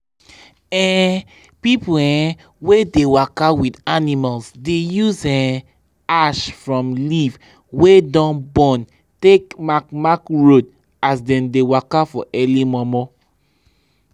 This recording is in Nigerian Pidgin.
people um wey dey waka with animals dey use um ash from leaf wey don burn take mark mark road as dem dey waka for early momo.